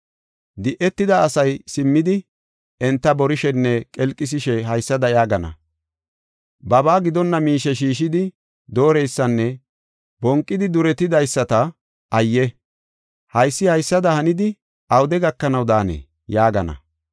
Di7etida asay simmidi enta borishenne qelqisishe haysada yaagana: “Babaa gidonna miishe shiishidi dooreysanne bonqidi duretidaysata ayye! Haysi haysada hanidi, awude gakanaw daanee?” yaagana.